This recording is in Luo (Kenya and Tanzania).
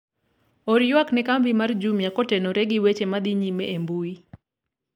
or ywak ne kambi mar jumia kotenore gi weche madhi nyime e mbui